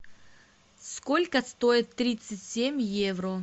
сколько стоит тридцать семь евро